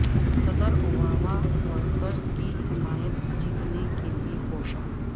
صدر Obama workers کی حمایت جیتنے کے لیے کوشاں